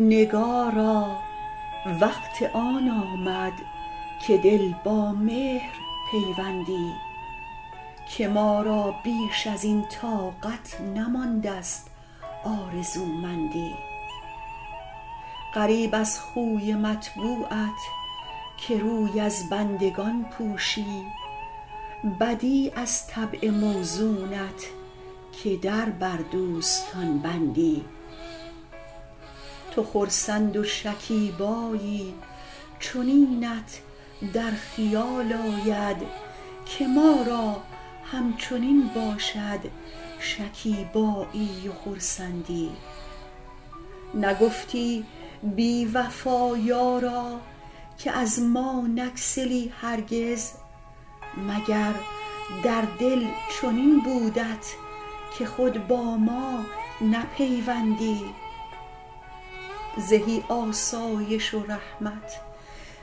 نگارا وقت آن آمد که دل با مهر پیوندی که ما را بیش از این طاقت نمانده ست آرزومندی غریب از خوی مطبوعت که روی از بندگان پوشی بدیع از طبع موزونت که در بر دوستان بندی تو خرسند و شکیبایی چنینت در خیال آید که ما را همچنین باشد شکیبایی و خرسندی نگفتی بی وفا یارا که از ما نگسلی هرگز مگر در دل چنین بودت که خود با ما نپیوندی زهی آسایش و رحمت